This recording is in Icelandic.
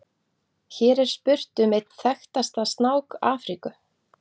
Hér er spurt um einn þekktasta snák Afríku.